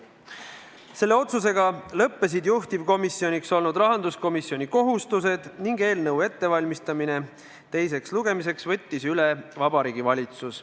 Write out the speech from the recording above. Selle otsusega lõppesid juhtivkomisjoniks olnud rahanduskomisjoni kohustused ning eelnõu ettevalmistamise teiseks lugemiseks võttis üle Vabariigi Valitsus.